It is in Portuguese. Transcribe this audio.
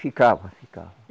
Ficava, ficava.